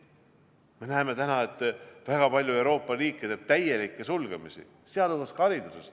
Me näeme täna väga palju Euroopa riikide täielikke sulgemisi, sealhulgas ka hariduses.